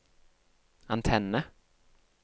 antenne